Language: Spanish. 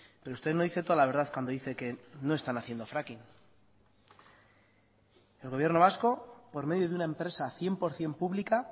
pero usted no dice toda la verdad cuando dice que no están haciendo fracking el gobierno vasco por medio de una empresa cien por ciento pública